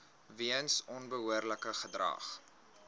weens onbehoorlike gedrag